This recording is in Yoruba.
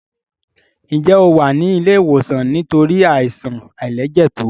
Njé o wá ní ilé ìwòsan nítorí Àìsàn àìlẹjẹtó?